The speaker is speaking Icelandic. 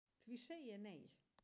Því segi ég nei